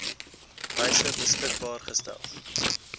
wyse beskikbaar gestel